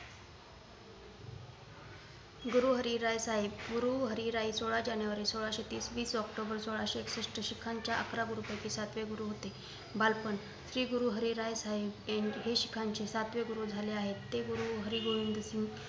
गुरु हरी राय साहेब गुरु हरी राय सोलाह जानेवारी सोलाहशे तीस वीस ऑक्टोबर सोलाहशे एकषष्ठ शिखांचे अकरा गुरु पैकी सातवे गुरु होते बालपण- श्री गुरु हरी राय साहेब हे शिखांचे सातवे गुरु झाले आहेत ते गुरु हरी गोविंद सिंग